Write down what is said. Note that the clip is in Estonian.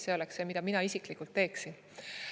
See oleks see, mida mina isiklikult teeksin.